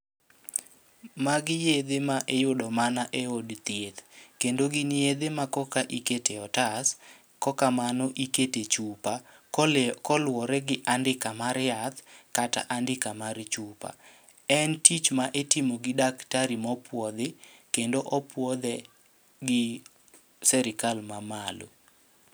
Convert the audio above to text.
Magi yedhe ma iyudo mana e od thieth, kendo gin yedhe ma koka ikete otas. Kokamano ikete chupa koluwore gi andika mar yath kata andika mar chupa. En tich ma itimo gi daktari mopuodhi, kendo opuodhe gi serikal ma malo.